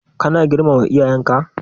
Ka na girmama iyayenka?